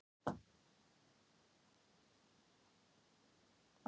Þessir unglingar í dag kvartaði hún.